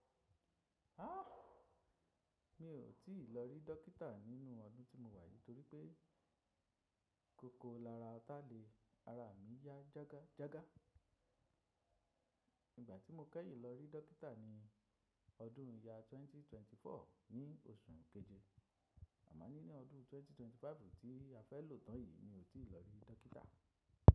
Ha! Mi ò tíì lọ rí dókítà nínú ọdún tí mo wà yìí torí pé kòkò lara ọ̀tá le ara mi yá jága jága. Ìgbà tí mo kẹ́yì lọ rí dókítà ni ọdún yá 2024 ní oṣù keje. Àmó nínj odún 2025 ti á fé lo tún yìí mi ò tíì lo re dokiita.